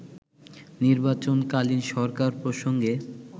নির্বাচন কালীন সরকার প্রসঙ্গে